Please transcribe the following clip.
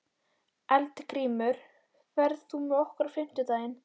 Eldgrímur, ferð þú með okkur á fimmtudaginn?